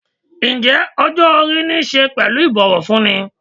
Ǹjẹ́ ọjọ́-orí niṣe pẹ̀lú ibowofunni?